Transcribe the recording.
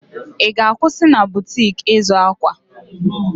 I ga-akwụsị na butik ịzụ akwa?